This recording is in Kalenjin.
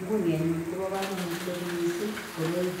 nguni anyun kobo kamanut kot mising koroi.